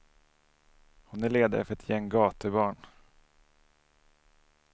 Hon är ledare för ett gäng gatubarn.